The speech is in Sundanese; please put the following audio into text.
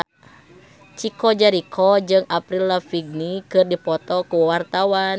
Chico Jericho jeung Avril Lavigne keur dipoto ku wartawan